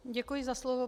Děkuji za slovo.